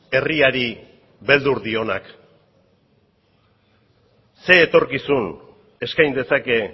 herriari beldur dionak zer etorkizuna eskain dezake